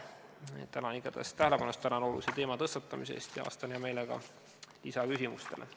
Igal juhul tänan olulise teema tõstatamise eest ja vastan hea meelega lisaküsimustele.